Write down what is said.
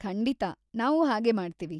ಖಂಡಿತ, ನಾವು ಹಾಗೇ ಮಾಡ್ತೀವಿ.